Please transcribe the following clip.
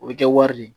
O bɛ kɛ wari de ye